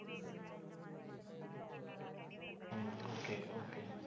okay okay